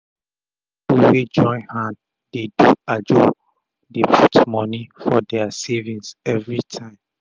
pipu wey join hand dey do ajo dey put moni for dia saving everi tym